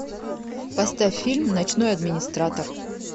поставь фильм ночной администратор